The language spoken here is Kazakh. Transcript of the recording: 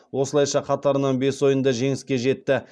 осылайша қатарынан бес ойында жеңіске жетті